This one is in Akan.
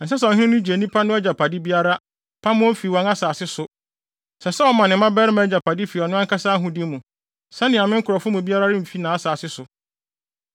Ɛnsɛ sɛ ɔhene no gye nnipa no agyapade biara, pam wɔn fi wɔn asase so. Ɛsɛ sɛ ɔma ne mmabarima agyapade fi ɔno ankasa ahode mu, sɛnea me nkurɔfo mu biara remfi nʼasase so.’ ”